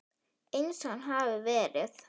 Eins og hann hafði verið.